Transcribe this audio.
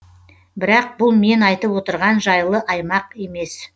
бірақ бұл мен айтып отырған жайлы аймақ емес